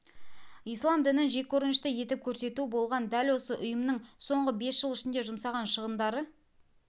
ислам дінін жеккөрінішті етіп көрсету болған дәл осы ұйымның соңғы бес жыл ішінде жұмсаған шығындары